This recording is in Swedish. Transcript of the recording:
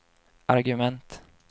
argument